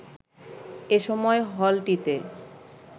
এ সময় হলটিতে